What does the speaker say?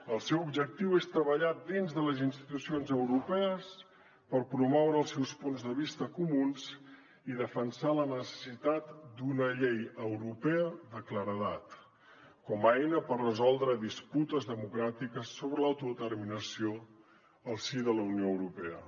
el seu objectiu és treballar dins de les institucions europees per promoure els seus punts de vista comuns i defensar la necessitat d’una llei europea de claredat com a eina per resoldre disputes democràtiques sobre l’autodeterminació al si de la unió europea